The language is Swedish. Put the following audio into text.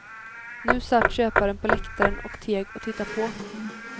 Nu satt köparen på läktaren och teg och tittade på.